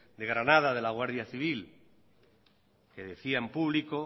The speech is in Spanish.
de granada de la guardia civil que decía en público